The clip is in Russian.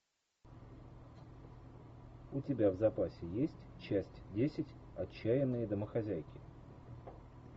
у тебя в запасе есть часть десять отчаянные домохозяйки